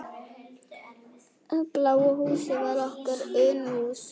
Bláa húsið var okkar Unuhús.